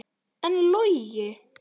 En Logi?